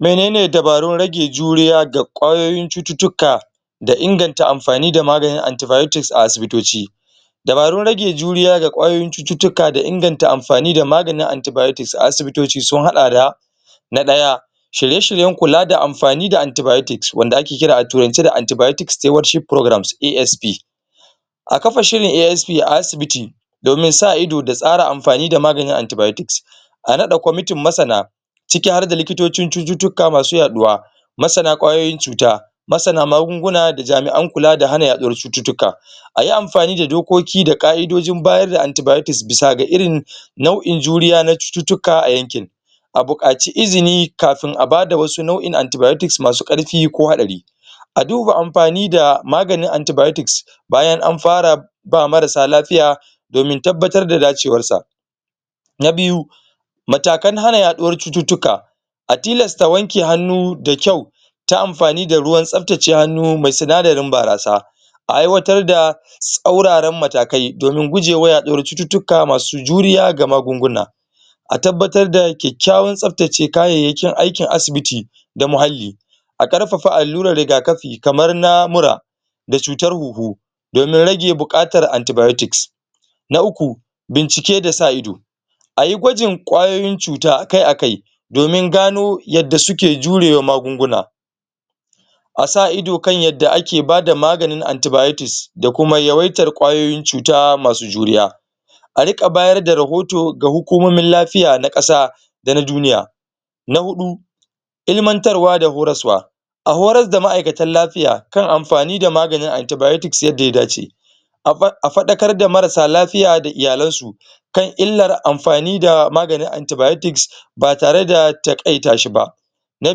Menene dabarun rage juriya da kwayoyin cututuka da inganta amfani da maganin antibiotics a asibitoci dabarun rage juriya da kwayoyin cututuka da inganta amfani da maganin antibiotics a asibitoci sun hada da na daya shirye shiryen kula da amfani da antibiotics wanda ake kira a turance "the antibiotics stewardship program (ASP) a kafa shirin ASP a asibiti domin sa ido da tsara amfani da maganin antibiotics a rada komitin masana ciki harda likitocin cututuka masu yaduwa masana kwayoyin cuta masana magunguna da jami'an kula da hana yaduwar cututuka ayi amfani da dokoki da ka'idojin bayar da antibiotics bisa ga irin nau'in juriya na cututuka a yankin a bukaci izini kafin a bada wasu nau'in antibiotics masu karfi ko hatsari a duba amfani da maganin antibiotics bayan an fara ba marasa lafiya domin tabatar da dacewan sa na biyu matakan na hana yaduwar cututuka atilas ta wanke hanu da kyau ta amfani da ruwan tsaptace hanu mai sinadari barasa a aiwatar da tsauraran matakai domin guje wa yaduwar cututuka masu juriya ga magunguna a tabatar da kyakyawan tsaptace kayeyakin aikin asibiti da muhali a karfafa aluran rigakafi kamar na mura da cutar huhu domin rage bukatar antibiotics na uku bincike da sa ido ayi gwajin kwayoyin cuta a kai a kai domin gano yada suke jure wa magunguna a sa ido kan yada ake bada maganin antibiotics da kuma yawaitar kwayoyin cuta masu juriya a rika bayar da ruhoto ga hukumomin lafiya na qasa da na duniya na hudu ilmantarwa da horoswa a horas da ma'aikatan lafiya kan amfani da maganin antibiotics yada ya dace a fadakar da marasa lafiya da iyalen su kan ilar amfani da maganin antibiotics ba tare da takaita shi ba na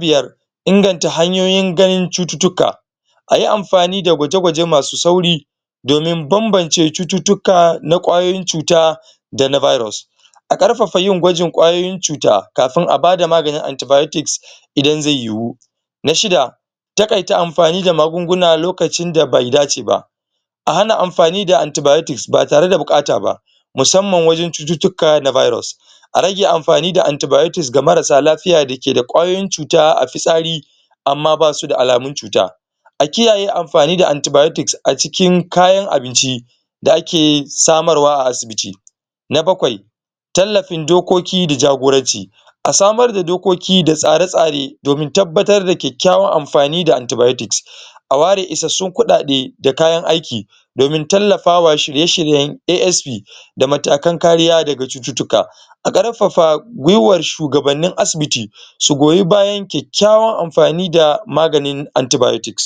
biyar inganta hanyoyin ganin cututuka ayi amfani da gwaje gwaje masu sauri domin banbance cututuka na kwayoyin cuta da na virus a karfafa yin gwajin kwayoyin cuta kafin a bada maganin antibiotics idan zai yuwu na shida takaita amfani da magunguna lokacin da bai dace wa a hana amfani da antibiotics ba tare da bukata ba masamman wajen cututuka na virus a rage amfani da antibiotics ga marasa lafiya da ke da kwayoyin cuta a fisari ama ba su da alamun cuta a kiyaye amfani da antibiotics a cikin kayan abinci da ake samar wa a asibiti na bakwai tallafin dokoki da jagoranci a samar da dokoki da tsare tsare domin tabatar da kyakyawan amfani da antibiotics a ware isasun kudade da kayan aiki domin talafawa shirye shiryen ASP da matakan kariya da ga cututuka a karfafa gwiwar shugabanin asibiti su goyi bayan kyakyawan amfani da maganin antibiotics